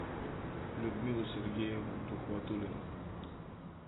людмилу сергеевну тухватуллину